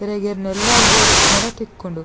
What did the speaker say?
ಇರೆಗ್ ಇರ್ನ ಇಲ್ಲಗ್ ಬೋಡಿತ್ತುಂಡಲ ತಿಕ್ಕುಂಡು.